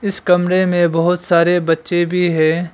इस कमरे में बहोत सारे बच्चे भी है।